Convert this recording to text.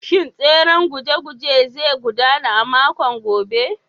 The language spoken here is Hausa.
Shin tseren guje-gujen zai gudana a makon gobe?